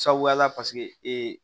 Sabuyala ee